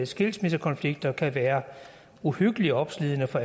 skilsmissekonflikter kan være uhyggelig opslidende for